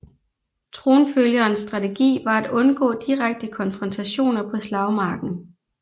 Tronfølgerens strategi var at undgå direkte konfrontationer på slagmarken